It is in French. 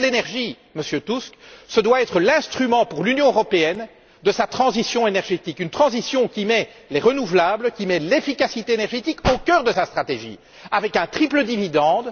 L'union de l'énergie, Monsieur Tusk, doit être l'instrument pour l'Union européenne de sa transition énergétique, une transition qui met les énergies renouvelables et l'efficacité énergétique au cœur de sa stratégie avec un triple dividende.